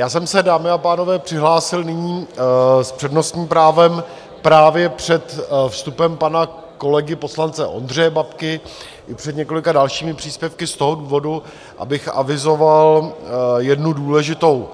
Já jsem se, dámy a pánové, přihlásil nyní s přednostním právem právě před vstupem pana kolegy poslance Ondřeje Babky i před několika dalšími příspěvky z toho důvodu, abych avizoval jednu důležitou,